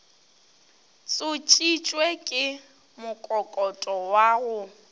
tsošitšwe ke mokokoto wa go